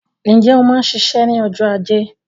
Ǹjẹ́ o máa ń ṣiṣẹ́ ní ọjọ́ ajé